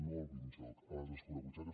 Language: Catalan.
no al binjoc a les escurabutxaques